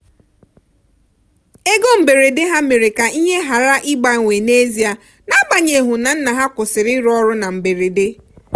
ego mberede ha mere ka ihe ghara ịgbanwe n'ezie n'agbanyeghu na nna ha kwụsịrị ịrụ ọrụ na mberede.